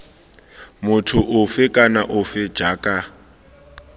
motho ofe kana ofe jaaka